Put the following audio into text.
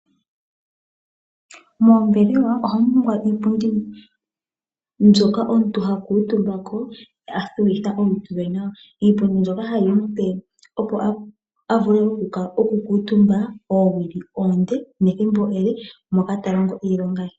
Moombelewa ohamu tulwa iipundu mbyoka omuntu oha kuutumba uuna talongo iilonga ye